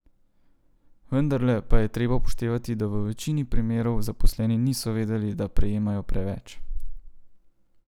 Vendarle pa je treba upoštevati, da v večini primerov zaposleni niso vedeli, da prejemajo preveč.